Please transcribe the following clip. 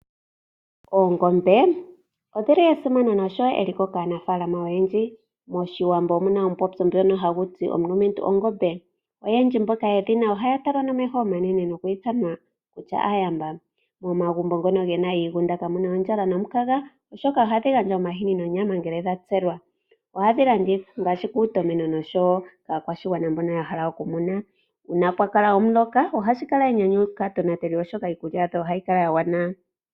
Oongombe odhi li esimano noshowo eliko kaanafalama oyendji. MOshiwambo omu na omupopyo ngono hagu ti omulumentu ongombe. Oyendji mboka yedhi na ohaya talwa nomeho omanene nohaya ithanwa kutya aayamba. Momagumbo ngono mu na iigunda kamu na ondjala nomukaga, oshoka ohadhi gandja oomahini nonyama ngele dha tselwa ohadhi landithwa ngaashi kuutomeno noshowo kaakwashigwana mbono ya hala okumuna. Uuna pwa kala omuloka ohashi kala enyanyu kaatonateli, oshoka iikulya yadho ohayi kala ya gwana.